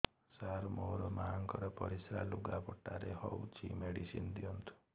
ସାର ମୋର ମାଆଙ୍କର ପରିସ୍ରା ଲୁଗାପଟା ରେ ହଉଚି ମେଡିସିନ ଦିଅନ୍ତୁ